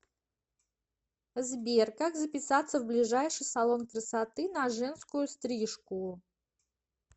сбер как записаться в ближайший салон красоты на женскую стрижку